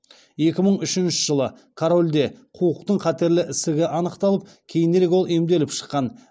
екі мың үшінші жылы корольде қуықтың қатерлі ісігі анықталып кейінірек ол емделіп шыққан